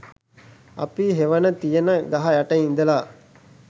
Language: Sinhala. අපි හෙවන තියෙන ගහ යට ඉඳලා